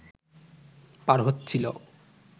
পার হচ্ছিল